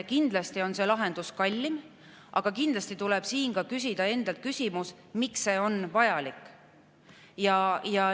Kindlasti on see lahendus kallim, aga tuleb küsida endalt ka küsimus, miks see on vajalik.